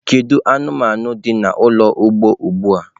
Kedu anụmanụ dị n'ụlọ ugbo ugbu a?